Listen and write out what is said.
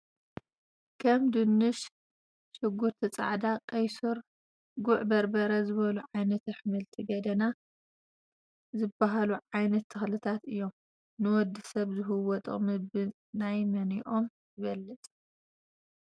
ከም ድንሽ፣ ዕጉርቲ ፃዕዳ፣ ቀይሕ ሱር፣ ጉዕ በርበረ ዝብሉ ዓይነታት ኣሕምልቲ ገደና ዝብሃሉ ዓይነት ተክልታት እዮም፡፡ ንወዲ ሰብ ዝህብዎ ጥቅሚ ብ% ናይ መንኦም ይበልፅ?